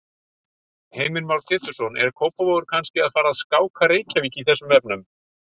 Heimir Már Pétursson: Er Kópavogur kannski að fara að skáka Reykjavík í þessum efnum?